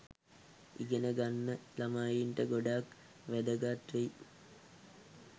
ඉගෙන ගන්න ළමයින්ට ගොඩක් වැදගත් වෙයි.